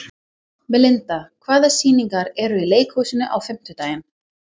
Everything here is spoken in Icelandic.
Melinda, hvaða sýningar eru í leikhúsinu á fimmtudaginn?